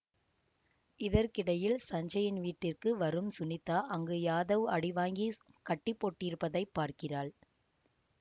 இதற்கிடையில் சஞ்சயின் வீட்டிற்கு வரும் சுனிதா அங்கு யாதவ் அடிவாங்கி கட்டி போடப்பட்டிருப்பதைப் பார்க்கிறாள்